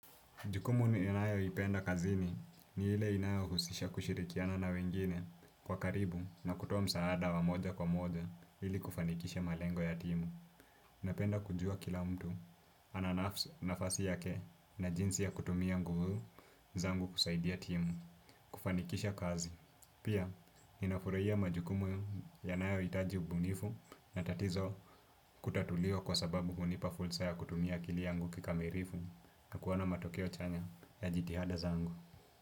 Jukumu ninayo ipenda kazini ni ile inayo husisha kushirikiana na wengine kwa karibu na kutoa msaada wa moja kwa moja ili kufanikisha malengo ya timu. Napenda kujua kila mtu ananafasi yake na jinsi ya kutumia nguvu zangu kusaidia timu kufanikisha kazi. Pia, ninafurahia majukumu ya nayohitaji ubunifu na tatizo kutatuliwa kwa sababu hunipa fursa ya kutumia akili yangu kikamilifu na kuwa na matokeo chanya ya jitihada za angu.